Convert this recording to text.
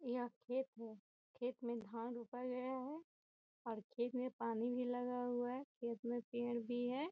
यहाँ खेत है खेत में धान रोपा गया है और खेत में पानी भी लगा हुआ है और खेत में पेड़ भी हैं।